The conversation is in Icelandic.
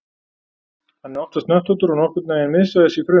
Hann er oftast hnöttóttur og nokkurn veginn miðsvæðis í frumu.